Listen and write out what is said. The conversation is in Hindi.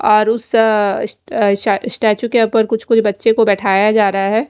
और उस अ इस स्टाछु के उपर कुछ बच्चे को बिठाया जा रहा है।